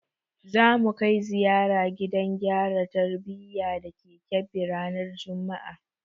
Za mu kai ziyara gidan gyara tarbiyya da ke Kebbi ranar juma'a.